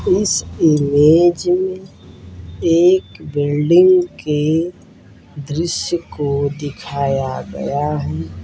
इस इमेज में एक बिल्डिंग की दृश्य को दिखाया गया है।